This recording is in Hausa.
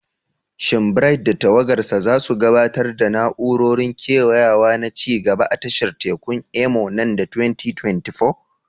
Shin Bright da tawagarsa za su gabatar da na'urorin kewayawa na ci gaba a tashar tekun Imo nan da 2024?